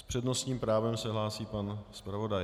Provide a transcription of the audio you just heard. S přednostním právem se hlásí pan zpravodaj.